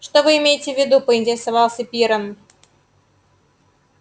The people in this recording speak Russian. что вы имеете в виду поинтересовался пиренн